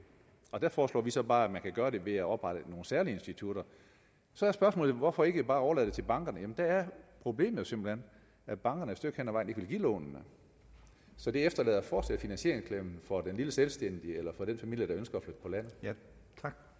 og der foreslår vi så bare at man kan gøre det ved at oprette nogle særlige institutter så er spørgsmålet hvorfor ikke bare overlade det til bankerne jamen der er problemet simpelt hen at bankerne et stykke vejen ikke vil give lånene så det efterlader fortsat den lille selvstændige eller lille familie der ønsker